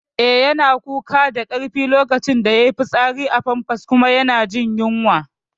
Eh, yana kuka da karfi lokacin da yayi fitsari a famfas kuma yana jin yunwa